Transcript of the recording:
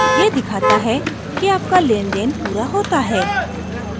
यह दिखाता है कि आपका लेनदेन पूरा होता है